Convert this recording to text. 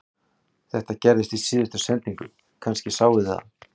Þetta gerðist í síðustu sendingu, kannski sáuð þið það